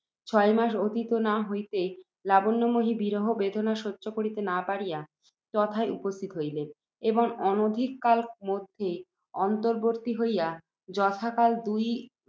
ছয় মাস অতীত না হইতেই, লাবণ্যময়ী, বিরহবেদনা সহ্য করিতে না পারিয়া, তথায় উপস্থিত হইলেন, এবং অনধিক কাল মধ্যেই অন্তর্বত্নী হইয়া, যথাকালে দুই